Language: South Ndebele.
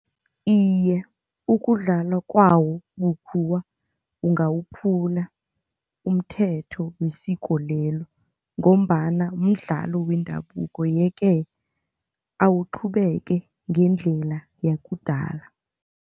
Iye, ukudlalwa kwawo bukhuwa ungawuphula umthetho wesiko lelo ngombana mdlalo wendabuko yeke awuqhubeke ngendlela yakudala.